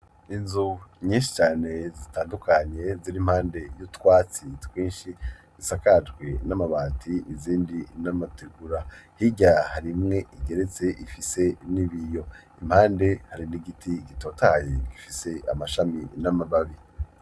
Inzu nyinshi cane zitandukanye ziri impande y'utwatsi twinshi zisakajwe n'amabati izindi n'amategura hirya harimwe igeretse ifise n'ibiyo impande hari n'igiti gitotahaye gifise amashami n'amababi.